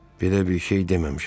Belə bir şey deməmişəm.